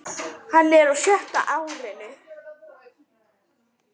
Hann er á sjötta árinu.